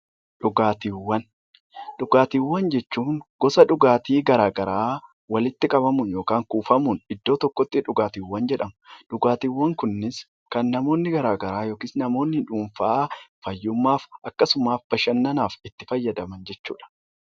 Dhugaatiiwwan Dhugaatiiwwan jechuun gosa dhugaatii garaagaraa walitti qabamuun yookaan kuufamuun iddoo tokkotti dhugaatii jedhamu. Dhugaatiiwwan kunis kan namoonni garaagaraa , namoonni dhuunfaa fayyummaaf akkasumas bashannanaaf itti fayyadaman jechuudha.